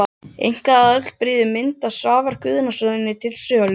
Einkaaðili býður mynd eftir Svavar Guðnason til sölu.